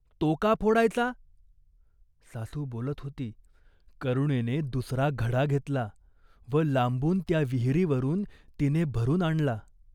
तो का फोडायचा ?" सासू बोलत होती. करुणेने दुसरा घडा घेतला व लांबून त्या विहिरीवरून तिने भरून आणला.